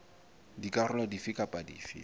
dikarolo dife kapa dife tse